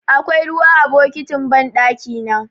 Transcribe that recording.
Akwai ruwa a bokitin banɗakina.